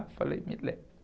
Eu falei, me leve.